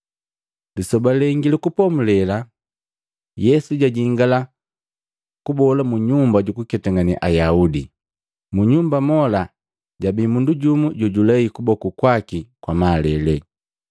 Lisoba lengi lu Kupomulela Yesu jajingala kubola mu Nyumba jukuketangane Ayaudi. Mu nyumba mola jabi mundu jojulei kuboku kwaki kwa malele.